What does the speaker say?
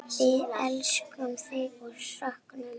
Við elskum þig og söknum.